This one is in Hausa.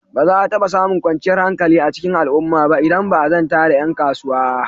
Ba za a taɓa samun kwanciyar hankali a cikin al'umma ba idan ba a zanta da ƴan kasuwa.